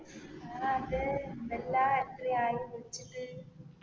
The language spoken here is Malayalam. ആ അതേ എന്താ എല്ലാം എത്രയായി വിളിച്ചിട്ട്